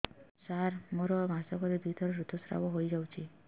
ସାର ମୋର ମାସକରେ ଦୁଇଥର ଋତୁସ୍ରାବ ହୋଇଯାଉଛି